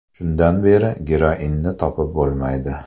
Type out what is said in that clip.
Shundan beri geroinni topib bo‘lmaydi.